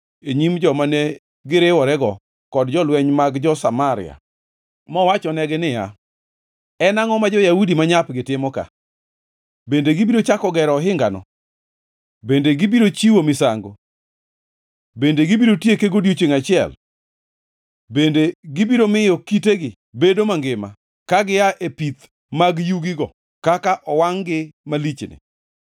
e nyim joma ne giriworego kod jolweny mag jo-Samaria, mowachonegi niya, “En angʼo ma jo-Yahudi manyapgi timo ka? Bende gibiro chako gero ohingano? Bende gibiro chiwo misango? Bende gibiro tieke godiechiengʼ achiel? Bende gibiro miyo kitegi bedo mangima ka gia e pith mag yugigo, kaka owangʼ-gi malichni?”